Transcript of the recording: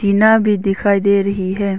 टीना भी दिखाई दे रही है।